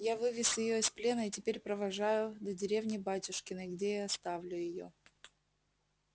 я вывез её из плена и теперь провожаю до деревни батюшкиной где и оставлю её